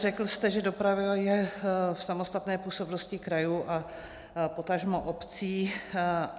Řekl jste, že doprava je v samostatné působnosti krajů a potažmo obcí.